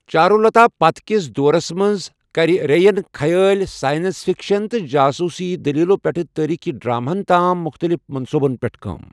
چارولتا پتہٕ کِس دورَس منٛز كرِ رے یَن خیٲلی، سائنس فکشن، تہٕ جاسوٗسی دٔلیٖلَو پٮ۪ٹھٕ تٲریٖخی ڈراماہَن تام مُختٔلِف منصوٗبَن پٮ۪ٹھ کٲم ۔